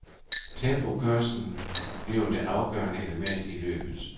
Tempokørslen bliver det afgørende element i løbet.